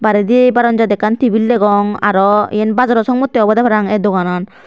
barendi barandat ekkan tebil degong aro eyan bajorot songmotte obode parapang e doganan.